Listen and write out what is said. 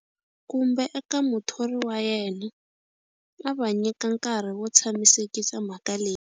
Kumbe eka muthori wa yena, a va nyika nkarhi wo tshamisekisa mhaka leyi.